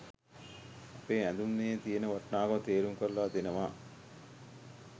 අපේ ඇඳුමේ තියෙන වටිනාකම තේරුම් කරලා දෙනවා.